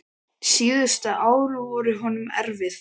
Síðustu ár voru honum erfið.